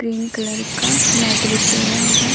Green colour का mat बिछी है यहां।